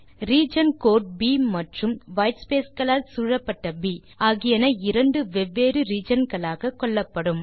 region code ப் மற்றும் whitespace களால் சூழப்பட்ட ப் ஆகியன இரண்டு வெவ்வேறு ரீஜியன் களாக கொள்ளப்படும்